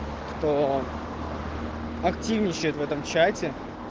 то активничает в этом чате